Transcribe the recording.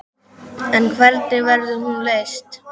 En hvernig verður hún leyst?